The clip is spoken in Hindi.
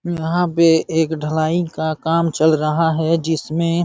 यहाँ पर पे ढलाई का काम चल रहा है जिसमें --